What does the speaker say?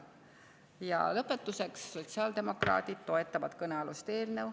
Ja lõpetuseks: sotsiaaldemokraadid toetavad kõnealust eelnõu.